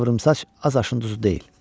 Bu qıvrımsaç az aşın duzu deyil.